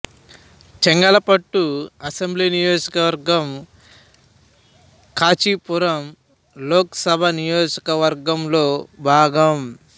Chengalpattu assembly నియోజకవర్గం కాంచీపురం లోక్ సభ నియోజకవర్గం లో భాగం